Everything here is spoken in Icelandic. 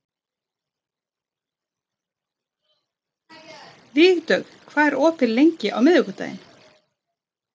Vígdögg, hvað er opið lengi á miðvikudaginn?